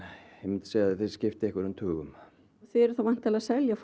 þeir skipta einhverjum tugum þið eruð þá væntanlega að selja